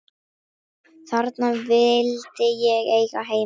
Þarna vildi ég eiga heima.